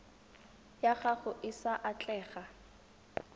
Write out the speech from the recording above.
ya gago e sa atlega